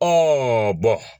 Ɛɛ